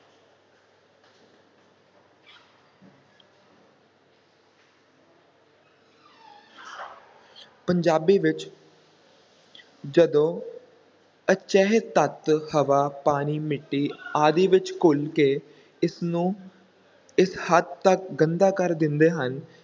ਪੰਜਾਬੀ ਵਿੱਚ ਜਦੋਂ ਅਜਿਹੇ ਤੱਤ ਹਵਾ, ਪਾਣੀ ਮਿੱਟੀ ਆਦਿ ਵਿੱਚ ਘੁਲ ਕੇ ਇਸ ਨੂੰ ਇਸ ਹੱਦ ਤੱਕ ਗੰਦਾ ਕਰ ਦਿੰਦੇ ਹਨ